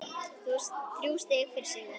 Þrjú stig fyrir sigur